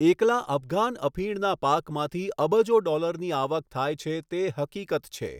એકલા અફઘાન અફીણના પાકમાંથી અબજો ડોલરની આવક થાય છે તે હકીકત છે